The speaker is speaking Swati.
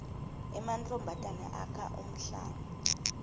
emantfombatane akha umhlanga